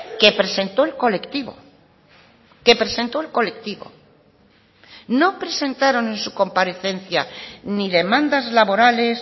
que presentó el colectivo que presentó el colectivo no presentaron en su comparecencia ni demandas laborales